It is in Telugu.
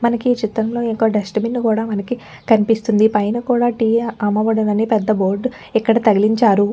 మనకి ఈ చిత్రంలో ఇంకో డస్ట్ బిన్ కూడా మనకి కనిపిస్తుందిపైన కూడా టీ యా అమ్మబడును అని పెద్ద బోర్డ్ ఇక్కడ తగలించారు.